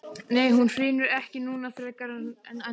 Nei hún hrynur ekki núna frekar en endranær.